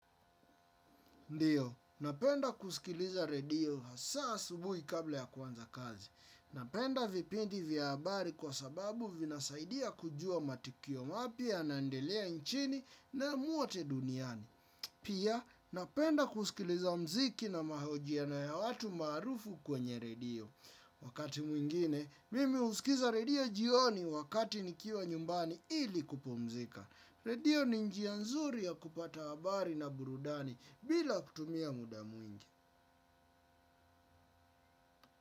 Ndiyo, napenda kusikiliza redio hasa asubuhi kabla ya kuanza kazi. Napenda vipindi vya habari kwa sababu vinasaidia kujua matukio mapya yanaendelea nchini na mwote duniani. Pia, napenda kusikiliza mziki na mahojiano ya watu maarufu kwenye redio. Wakati mwingine, mimi husikiza redio jioni wakati nikiwa nyumbani ili kupumzika. Redio ni njia nzuri ya kupata habari na burudani bila kutumia muda mwingi.